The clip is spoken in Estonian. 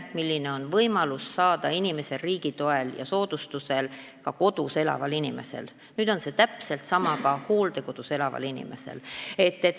Riigi toel ja soodustusega on nüüd võimalik abivahendeid saada võrdselt kodus elava inimesega ka hooldekodus elaval inimesel.